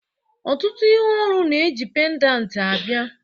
Ọtụtụ ihe olu na-eji pendant abịa